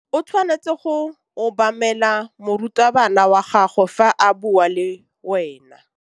O tshwanetse go obamela morutabana wa gago fa a bua le wena.